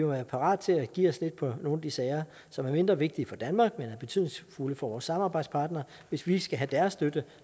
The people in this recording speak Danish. være parate til at give os lidt på nogle af de sager som er mindre vigtige for danmark men er betydningsfulde for vores samarbejdspartnere hvis vi skal have deres støtte